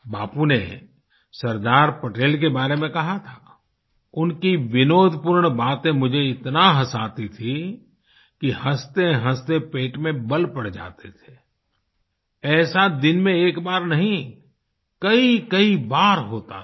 बापू ने सरदार पटेल के बारे में कहा था उनकी विनोदपूर्ण बातें मुझे इतना हँसाती थी कि हँसतेहँसते पेट में बल पड़ जाते थे ऐसा दिन में एक बार नहीं कईकई बार होता था